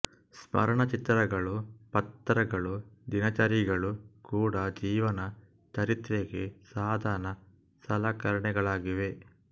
ಸ್ಮರಣ ಚಿತ್ರಗಳು ಪತ್ರಗಳು ದಿನಚರಿಗಳು ಕೂಡ ಜೀವನ ಚರಿತ್ರೆಗೆ ಸಾಧನ ಸಲಕರಣೆಗಳಾಗಿವೆ